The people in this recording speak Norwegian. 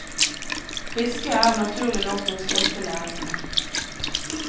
Fisket er naturlig nok den største næringen her.